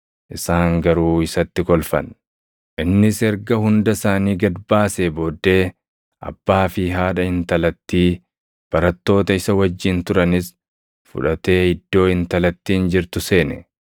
Isaan garuu isatti kolfan. Innis erga hunda isaanii gad baasee booddee, abbaa fi haadha intalattii, barattoota isa wajjin turanis fudhatee iddoo intalattiin jirtu seene.